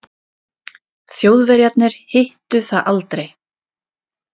Þjóðverjarnir hittu það aldrei.